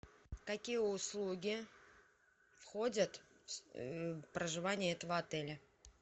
какие услуги входят в проживание этого отеля